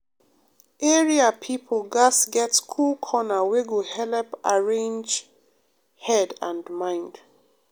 area people gatz get cool corner wey go helep arrange head and mind.